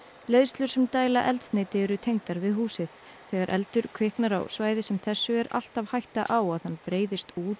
leiðslur sem dæla eldsneyti eru tengdar við húsið þegar eldur kviknar á svæði sem þessu er alltaf hætta á að hann breiðist út